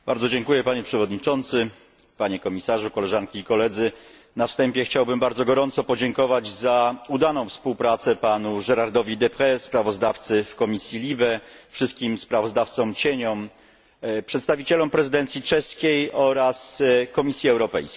Panie przewodniczący, panie komisarzu! Na wstępie chciałbym bardzo gorąco podziękować za udaną współpracę panu Gérardowi Deprez, sprawozdawcy w Komisji LIBE, wszystkim sprawozdawcom cieniom, przedstawicielom prezydencji czeskiej oraz Komisji Europejskiej.